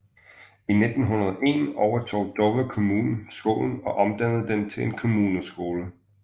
I 1901 overtog Dover Kommune skolen og omdannede den til en kommuneskole